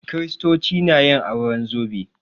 Kiristoci na yin auren zobe